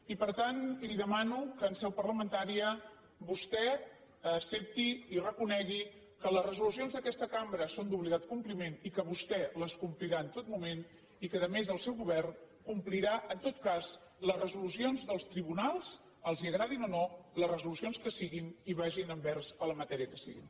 i per tant li demano que en seu parlamentària vostè accepti i reconegui que les resolucions d’aquesta cambra són d’obligat compliment i que vostè les complirà en tot moment i que a més el seu govern complirà en tot cas les resolucions dels tribunals els agradin o no les resolucions que siguin i vagin envers la matèria que sigui